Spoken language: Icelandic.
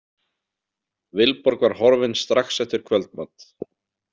Vilborg var horfin strax eftir kvöldmat.